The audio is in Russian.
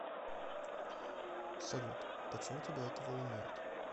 салют почему тебя это волнует